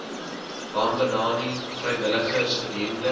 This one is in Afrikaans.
bambanani vrywilligers gedurende